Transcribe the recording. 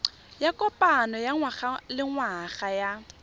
ya kopano ya ngwagalengwaga ya